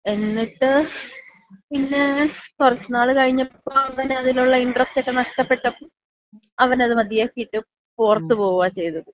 എന്നിട്ട്, പിന്നെ കൊറച്ച് നാള് കഴിഞ്ഞപ്പോ അവന് അതിനുള്ള ഇൻട്രസ്റ്റ് ഒക്ക നഷ്ടപ്പെട്ടപ്പോ അവനത് മതിയാക്കിയിട്ട് പുറത്ത് പോകുവാ ചെയ്തത്.